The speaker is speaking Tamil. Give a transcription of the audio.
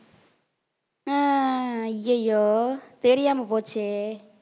அஹ் ஐயையோ தெரியாம போச்சே